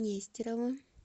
нестеровым